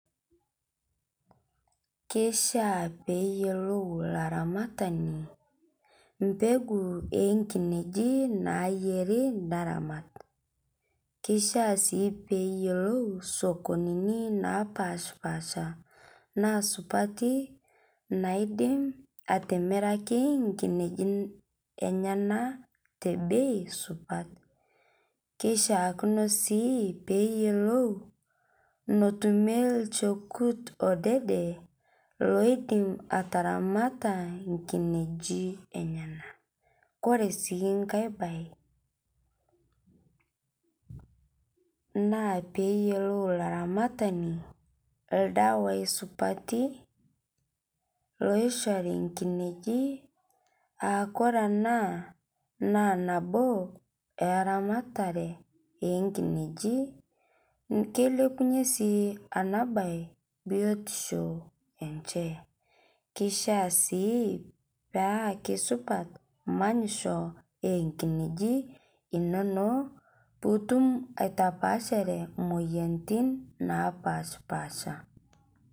Keishiaa peeyiolou laramatani mpekuu oonkineji naifaa neramat keishiaa sii neyiolou sokonini napaasha naasupati naidim atimiraki inkineji enyenak tebei supat keishia kino sii peeyiolou notumie olchekut odede loidim ataramata inkinyeji enyanak koree sii kae bae naapeyilou laraamatani ildawai supati loishori inkineji aa kore ena naa nabo eeramatare eenkineji keilepunyie sii enabaye biotisho enye keishiaa sii paa keisupat manyisho eenkineji inonok pootum atapaashare imoyiaritin napaashpasha